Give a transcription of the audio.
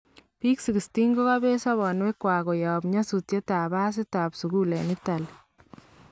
Biik 16 kokabeet sobonwek kwak koyaab nyasutyet ab pasiit ab sukuul en Italy